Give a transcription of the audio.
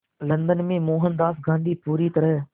London में मोहनदास गांधी पूरी तरह